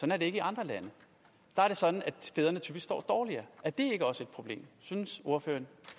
er det ikke i andre lande der er det sådan at fædrene typisk står dårligere synes ordføreren